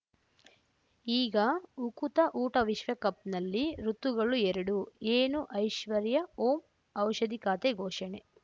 ಈಗ ಉಕುತ ಊಟ ವಿಶ್ವಕಪ್‌ನಲ್ಲಿ ಋತುಗಳು ಎರಡು ಏನು ಐಶ್ವರ್ಯಾ ಓಂ ಔಷಧಿ ಖಾತೆ ಘೋಷಣೆ